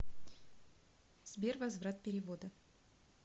сбер возврат перевода